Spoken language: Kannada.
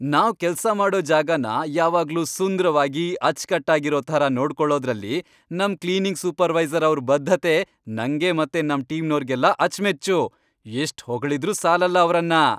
ನಾವ್ ಕೆಲ್ಸ ಮಾಡೋ ಜಾಗನ ಯಾವಾಗ್ಲೂ ಸುಂದ್ರವಾಗಿ, ಅಚ್ಚ್ಕಟ್ಟಾಗಿರೋ ಥರ ನೋಡ್ಕೊಳೋದ್ರಲ್ಲಿ ನಮ್ ಕ್ಲೀನಿಂಗ್ ಸೂಪರ್ವೈಸರ್ ಅವ್ರ್ ಬದ್ಧತೆ ನಂಗೆ ಮತ್ತೆ ನಮ್ ಟೀಮ್ನೋರ್ಗೆಲ್ಲ ಅಚ್ಮೆಚ್ಚು, ಎಷ್ಟ್ ಹೊಗಳಿದ್ರೂ ಸಾಲಲ್ಲ ಅವ್ರನ್ನ.